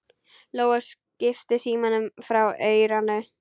Lóa kippti símanum frá eyranu.